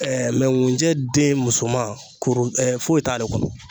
Ɛɛ mɛ ŋunjɛden musoman kuru foyi t'ale kɔnɔ